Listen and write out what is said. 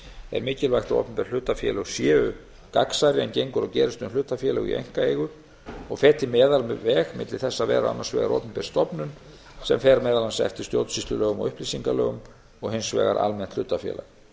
er mikilvægt að opinber hlutafélög séu gagnsærri en gengur og gerist um hlutafélög í einkaeigu og feti meðalveg milli þess að vera annars vegar opinber stofnun sem fer meðal annars eftir stjórnsýslulögum og upplýsingalögum og hins vegar almennt hlutafélag